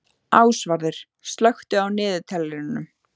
Ásvarður, slökktu á niðurteljaranum.